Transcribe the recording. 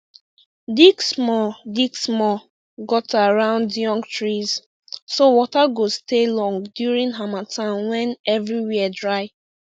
dig small dig small gutter round young trees so water go stay long during harmattan when everywhere dry